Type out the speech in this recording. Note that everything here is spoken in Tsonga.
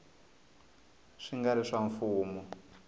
swi nga ri swa mfumo